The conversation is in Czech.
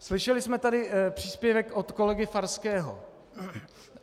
Slyšeli jsme tady příspěvek od kolegy Farského.